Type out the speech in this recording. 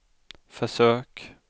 försök